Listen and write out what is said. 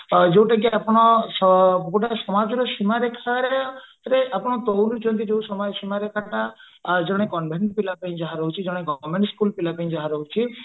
ଅ ଯୋଉଟା କି ଆପଣ ଗୋଟେ ସମାଜରେ ସୀମାରେଖାରେ ଆପଣ ତଉଲୁଛନ୍ତି ଜେନ convent ପିଲା ପାଇଁ ଯାହା ରହୁଛି ଜଣେ government school ପିଲା ପାଇଁ ଯାହା ରହୁଛି